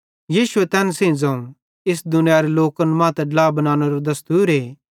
यीशुए तैन सेइं ज़ोवं इस दुनियारे लोकन मां त ड्ला बनानेरो दस्तूरे